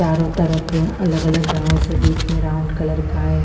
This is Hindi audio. चारो तरफ अलग अलग हाउस बिच में ब्राउन कलर का है।